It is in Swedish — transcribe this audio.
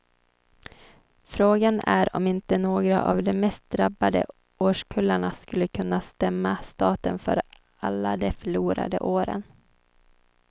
Frågan är om inte några av de mest drabbade årskullarna skulle kunna stämma staten för alla de förlorade åren.